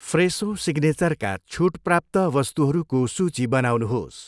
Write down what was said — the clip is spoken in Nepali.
फ्रेसो सिग्नेचरका छुट प्राप्त वस्तुहरूको सूची बनाउनुहोस्।